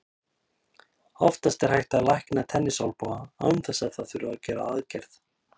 Oftast er hægt að lækna tennisolnboga án þess að það þurfi að gera aðgerð.